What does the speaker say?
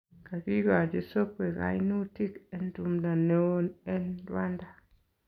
Kakikochi Sokwe kainutik en tumdo neon en Rwanda